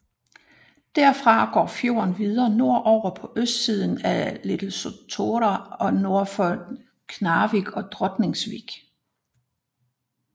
Derfra går fjorden videre nordover på østsiden af Litlesotra og nord til Knarrevik og Drotningsvik